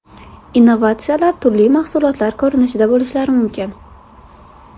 Innovatsiyalar turli mahsulotlar ko‘rinishida bo‘lishlari mumkin.